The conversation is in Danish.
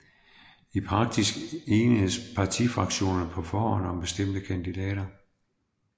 I praksis enes partifraktionerne på forhånd om bestemte kandidater